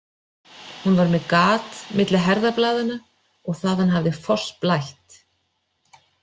Hún var með gat milli herðablaðanna og þaðan hafði fossblætt.